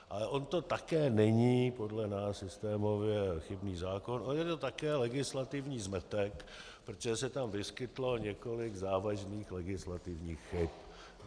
Ale on to také není podle nás systémově chybný zákon, on je to také legislativní zmetek, protože se tam vyskytlo několik závažných legislativních chyb.